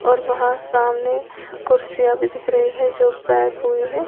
और वहाँ सामने कुर्सियां भी दिख रही हैं जो पैक हुई हैं।